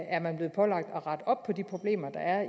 er man blevet pålagt at rette op på de problemer der er